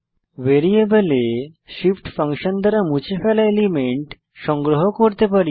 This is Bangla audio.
ভ্যারিয়েবলে shift ফাংশন দ্বারা মুছে ফেলা এলিমেন্ট সংগ্রহ করতে পারি